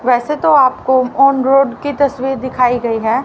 वैसे तो आप को ऑन रोड की तस्वीर दिखाई गई है।